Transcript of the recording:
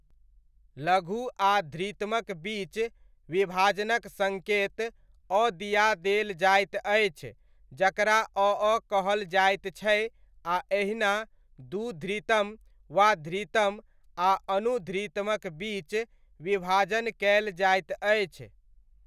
लघु आ धृतमक बीच विभाजनक सङ्केत, अ दिआ देल जाइत अछि जकरा अ अ, कहल जाइत छै आ एहिना दू धृतम वा धृतम आ अनुध्रुतमक बीच विभाजन कयल जाइत अछि।